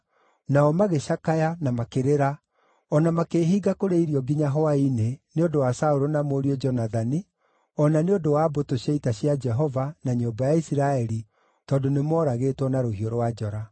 Nao magĩcakaya, na makĩrĩra, o na makĩĩhinga kũrĩa irio nginya hwaĩ-inĩ, nĩ ũndũ wa Saũlũ na mũriũ Jonathani, o na nĩ ũndũ wa mbũtũ cia ita cia Jehova, na nyũmba ya Isiraeli, tondũ nĩmooragĩtwo na rũhiũ rwa njora.